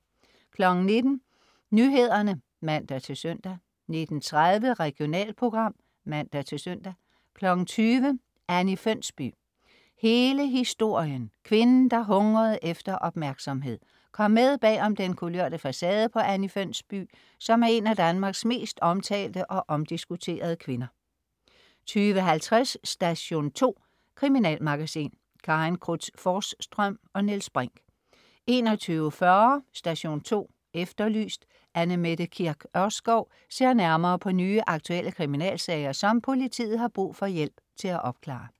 19.00 Nyhederne (man-søn) 19.30 Regionalprogram (man-søn) 20.00 Anni Fønsby. Hele historien. kvinden, der hungrede efter opmærksomhed Kom med om bag den kulørte facade på Anni Fønsby, som er en af Danmarks mest omtalte og omdiskuterede kvinder 20.50 Station 2. Kriminalmagasin. Karin Cruz Forsstrøm og Niels Brinch 21.40 Station 2 Efterlyst. Anne Mette Kirk Ørskov ser nærmere på nye, aktuelle kriminalsager, som politiet har brug for hjælp til at opklare